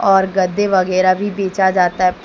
और गद्दे वगैरह भी बेचा जाता--